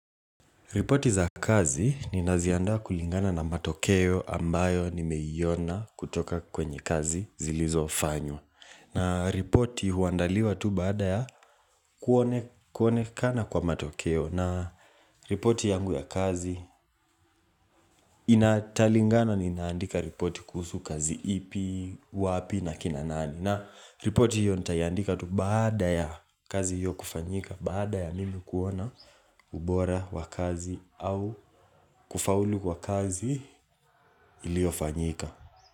Ripoti za kazi ninaziandaa kulingana na matokeo ambayo nimeiona kutoka kwenye kazi zilizofanywa. Na ripoti huandaliwa tu baada ya kuonekana kwa matokeo. Na ripoti yangu ya kazi italingana ninaandika ripoti kuhusu kazi ipi, wapi na kina nani. Na report hiyo nitaiandika tu baada ya kazi hiyo kufanyika, Baada ya mimi kuona ubora wa kazi au kufaulu kwa kazi iliyofanyika.